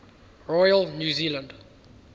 royal new zealand